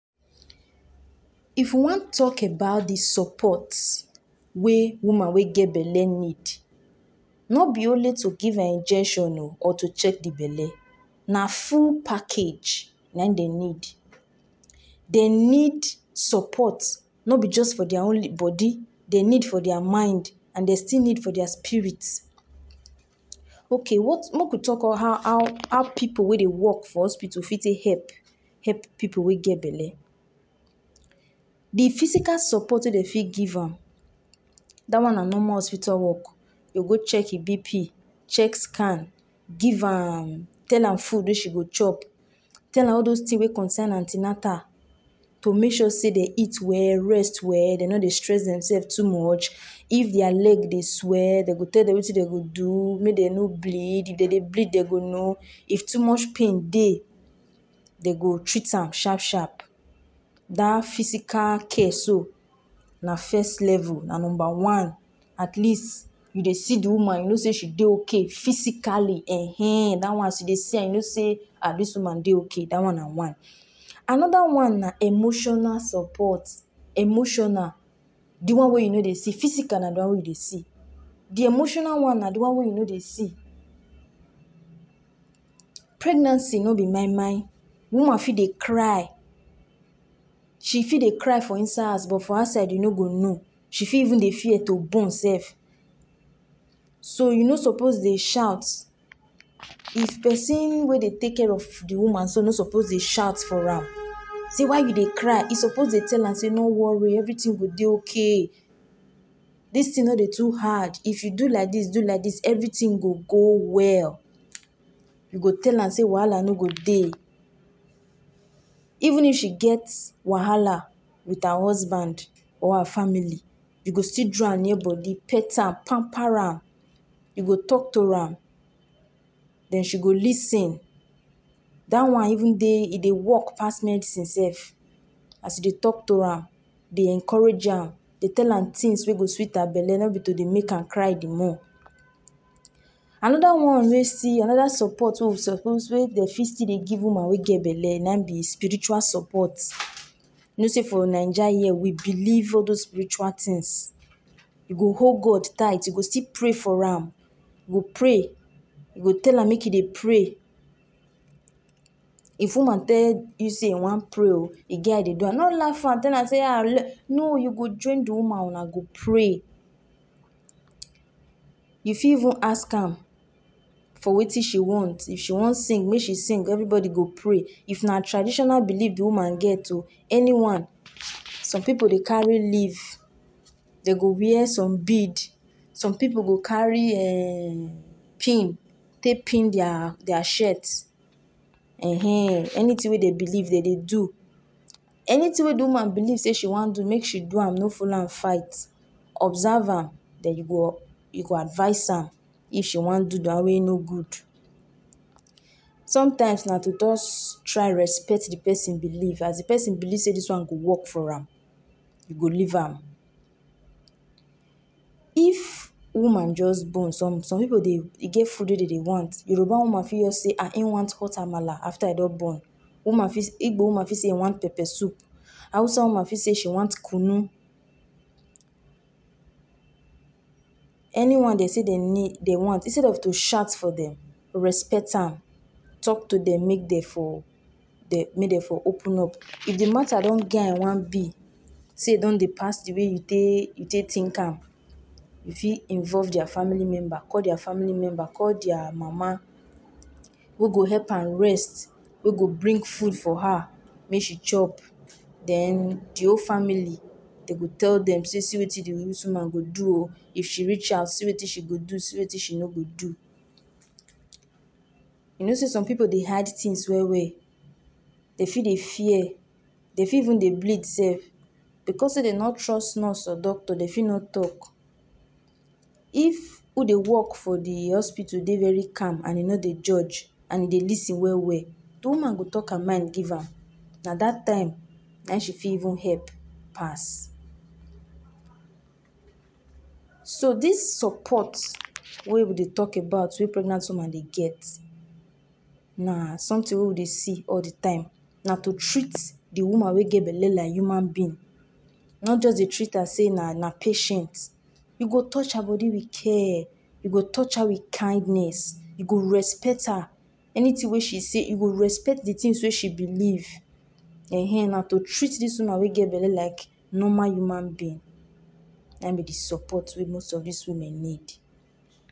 If you wan tok about di support wey woman we get belle nid, no bi only to give her injection oo or to check di belle, na ful package na im dey nid. Dey nid support no be jus for diya only bodi, dey nid for diya mind and dey still nid for diya spirits. Ok make we tok on how pipu wey de wok for hospital fit tek hep hep pipu wey get belle. Di physical support wey de fit give am, dat one na normal hospital work, dey go check di BP, check scan, give am tell am food we she go chop, tell am all dos tin we concern an ten atal, to mek sure sey they eat well, rest well dey no de stress demselves too much, if diya leg de swell de go tel dem wetin de go do, may dey no bleed, if de de bleed dey go know, if too much pain dey, de go treat am shap shap. Dat physical case so, na fes level na number one at least you de see di woman you no sey she de ok physically [um],that one you de see am you no say a dis woman de ok dat one na one. Another one na emotional support, emotional, di one wey you no de see. Physical na de one wey you dey see, emotional one na de one wey you no dey see. Pregnancy no be moimoi, woman fit de cry, she fit de cry for inside hers but if you ask her e no go know, she fit even de fear to born sef. So you no suppose de shout, if pesin we de take care of di woman so no suppose de shout for am. Say why you dey cry is suppose de tell am sey no worry, everytin go de ok, dis tin no de too hard, if you do like dis do like dis everytin go go well. You go tell am say wahala no go dey. Even if she get wahala with her husband or her family, you go still draw am near bodi pet am, pamper am you go talk to am, den she go lis ten. Dat one even de e de work pass medicine sef, as e de talk to her am, de encourage am, de tell am things wey go sweet am belle no be to de make am de cry de more. Another one wey still another support wey we suppose wey de feel still de give woman we get belle na im be spiritual supports. No sey for Naija here we believe all dos spiritual tins, you go hold God tight, you go still pray for am, we go pray, we go tell am make e dey pray. If woman tell you say e wan pray oo e get as e de do am, no laf am, you tell am am sey um no you go join di woman wuna go pray. you fie even ask am for wetin she want, if she wan sing mey she sing everybody go pray. If na traditional belief di woman get o, anyone, some pipu dey carry leaf dey go wear some bead, some pipu go carry um pin, tek pin dia shirt um, anytin wey dey believe de dey do, anytin wey di woman believe sey she wan do mek she do am mek follow am fight, observe her den you go you go advice her if she wan do one wey no good. Sometimes na to jus try respect di pesin believe as e pesin believe sey dis one go work for am, you go leave am. If woman jus born, some some pipu de e get food wey de dey want. Yoruba woman feel sey um e want hot Amala after I don born. Igbo woman feel say I wan pepper soup. Hausa woman feel sey she want Kunu. Anyone dey sey de nid dey want instead of to shout for dem respect am, tok to di may dey for, may de open up. If di matter get at one be set you don de pass di wey you get dey you dey tink am, you feel involve diya family member, call diya family member, call diya mama go go hep am rest, go go bring food for her may she chop, den di whole family de go tell dem sey see wetin dis woman go do if she reach hous, see wetin she go do see wetin she no go do. You know sey some pipu dey hide tins well well, dey feel we fear dey fit even dey bleed sef, becos sey dey no trust nurse or doctor dey feel no tok. If who de work for di hospital de very calm and e no de judge and e de lis ten well well di woman go tok her mind give am na dat time na im she feel even hep pass. So dis support wey we de tok about na sometin wey we de see all di time, na to treat di woman wey get belle like human being, not jus to treat her sey na na patient. You go touch her body wit care, you go touch her wit kindness, you go respect her, anytin wey she say you go respect di tin wey she believe, um na to treat dis woman wey get belle like normal human being, na im be di support wey dis woman nid.